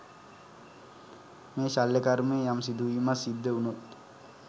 මේ ශල්‍ය කර්මය යම් සිඳුවීමක් සිද්ධ වුනොත්